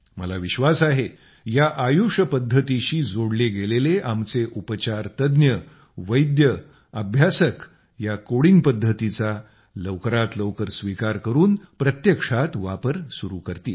मला विश्वास आहे या आयुष पद्धतींशी जोडले गेलेले आमचे उपचार तज्ज्ञ वैद्य याचे अभ्यासक या कोडिंग पद्धतीचा लवकरात लवकर स्वीकार करून प्रत्यक्षात वापर सुरू करतील